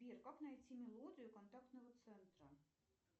сбер как найти мелодию контактного центра